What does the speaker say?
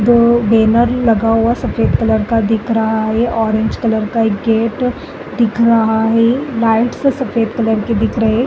दो बैनर सफेद कलर का दिख रहा है। ऑरेंज कलर का एक गेट दिख रहा है। लाइटस सफेद कलर की दिख रही है।